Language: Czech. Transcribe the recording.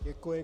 Děkuji.